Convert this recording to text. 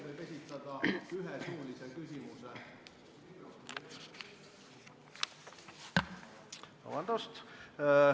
Aitäh!